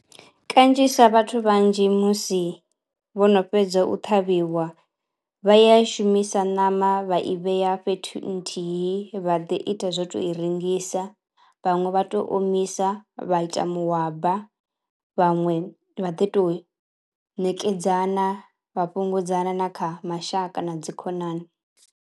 Kanzhisa vhathu vhanzhi musi vhono fhedza u ṱhavhiwa vha ya i shumisa ṋama vha i vhea fhethu nthihi vha ḓi ita zwo to i rengisa, vhaṅwe vha to omisa vha ita muhwabana, vhaṅwe vha ḓi to ṋekedzana vha na kha mashaka na dzikhonani.